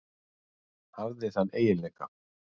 Hafði þann eiginleika.